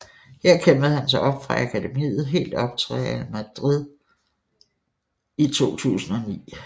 Her kæmpede han sig op fra akademiet helt op til Real Madrid B i 2009